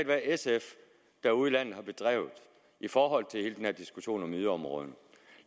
hvad sf derude i landet har bedrevet i forhold til hele den her diskussion om yderområderne